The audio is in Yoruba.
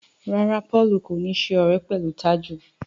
ràrá Paul kò ní ṣe ọrẹ pẹlú Taju.